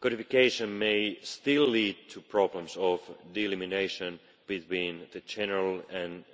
codification may still lead to problems of delimitation between the general and